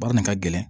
Baara nin ka gɛlɛn